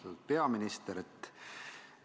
Austatud peaminister!